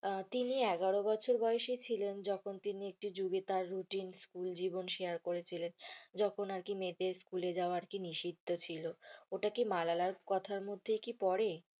তিনি এগারো বছর বয়সী ছিলেন যখন একটি যুগে তার routine school জীবন share করেছিলেন যখন আরকি মেয়েদের school এ যাওয়া আরকি নিষিদ্ধ ছিল। ওটা কি মালালা কথার মধ্যেই কি পরে?